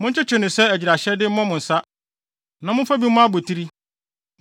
Monkyekye no sɛ agyiraehyɛde mmɔ mo nsa na momfa bi mmɔ abotiri.